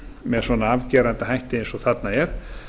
með svona afgerandi hætti eins og þarna er